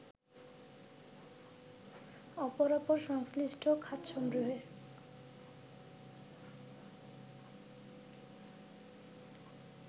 অপরাপর সংশ্লিষ্ট খাতসমূহের